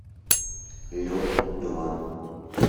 лед два